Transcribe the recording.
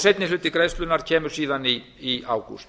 seinni hluti greiðslnanna kemur síðan í ágúst